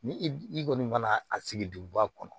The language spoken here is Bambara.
Ni i kɔni mana a sigi duguba kɔnɔ